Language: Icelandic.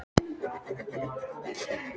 Veltur framtíð mín á úrslitum þessa leiks?